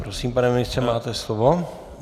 Prosím, pane ministře, máte slovo.